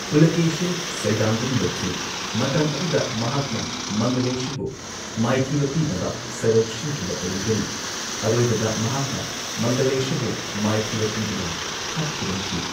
ꯄꯨꯂꯥꯀꯦꯁꯤꯟ ꯁꯩꯗꯥꯡꯗꯨꯅ ꯂꯩꯈꯤ, ꯃꯇꯝ ꯑꯗꯨꯗ ꯃꯍꯥꯛꯅ ꯃꯪꯒꯂꯦꯁꯥꯕꯨ ꯃꯥꯏꯊꯤꯕ ꯄꯤꯅꯕ ꯁꯔꯧ ꯁꯤꯟꯈꯤꯕ ꯑꯣꯔꯝꯒꯅꯤ, ꯑꯔꯣꯏꯕꯗ ꯃꯍꯥꯛꯅ ꯃꯪꯒꯂꯦꯁꯥꯕꯨ ꯃꯥꯏꯊꯤꯕ ꯄꯤꯗꯨꯅ ꯍꯥꯠꯈꯤꯔꯝꯈꯤ꯫